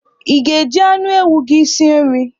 I ga- eji anụ ewu gị si nri?